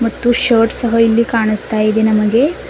ಮತ್ತು ಶರ್ಟ್ ಸಹ ಇಲ್ಲಿ ಕಾಣಸ್ತಾ ಇದೆ ನಮಗೆ.